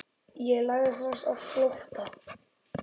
Ég lagði strax á flótta.